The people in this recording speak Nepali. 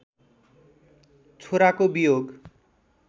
छोराको वियोग